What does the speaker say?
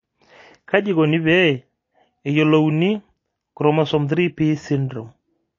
kaji eikoni pee eyiolouni chromosome 3p syndrome?